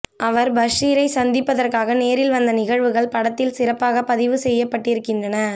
அவர் பஷீரை சந்திப்பதற்காக நேரில் வந்த நிகழ்வுகள் படத்தில் சிறப்பாக பதிவு செய்யப் பட்டிருக்கின்றன